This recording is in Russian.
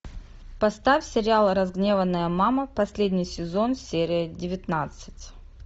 поставь сериал разгневанная мама последний сезон серия девятнадцать